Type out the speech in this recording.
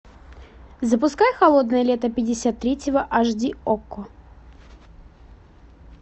запускай холодное лето пятьдесят третьего аш ди окко